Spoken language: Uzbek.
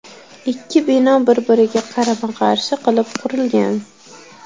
Ikki bino bir-biriga qarama-qarshi qilib qurilgan.